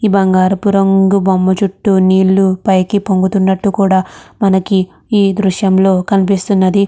ఇ బంగారపు రంగు బొమ్మ చుట్టూ నీళ్లు పైకి పొంగుతున్నట్టు కూడ మనకి ఈ దృశ్యం లో కనిపిస్తునది.